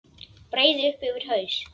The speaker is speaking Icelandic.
Breiði upp yfir haus.